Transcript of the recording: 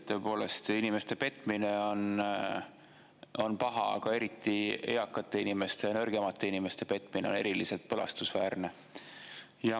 Tõepoolest inimeste petmine on paha, aga eriti eakate inimeste ja nõrgemate inimeste petmine on eriliselt põlastusväärne.